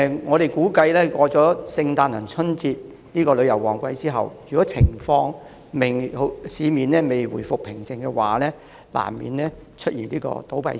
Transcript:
我們估計，如果聖誕節和春節兩個旅遊旺季過去後，市面仍未回復平靜的話，旅遊業及相關行業難免會出現倒閉潮。